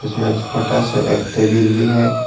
इसमें छोटा सा एक टेबील भी है।